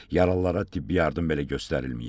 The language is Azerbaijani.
Yaralılara tibbi yardım belə göstərilməyib.